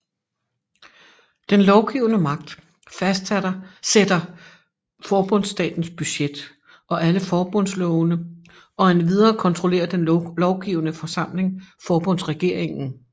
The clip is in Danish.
Den lovgivende magt fastsætter forbundsstatens budget og alle forbundslovene og endvidere kontrollerer den lovgivende forsamling forbundsregeringen